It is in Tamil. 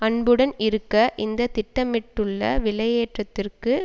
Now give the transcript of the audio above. அன்புடன் இருக்க இந்த திட்டமிட பட்டுள்ள விலையேற்றத்திற்கு